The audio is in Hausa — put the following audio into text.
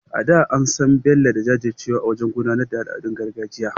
A da, an san Bello da jajircewarsa wajen gudanar da al’adun gargajiya.